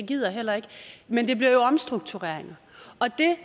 gider heller ikke men det bliver jo omstruktureringer